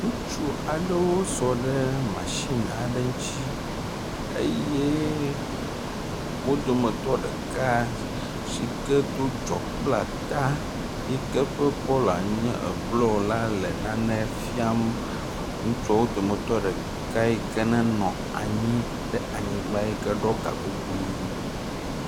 Ŋutsu aɖewo sɔ ɖe masini aɖe ŋutsi eye wo dometɔ ɖeka yi ke do dzɔkplata yi ke ƒe kɔla nye eblɔ la le nane fiam ŋutsuwo dometɔ ɖeka yi ke nenɔ anyi ɖe anyigba yi ke ɖɔ gakuku ʋi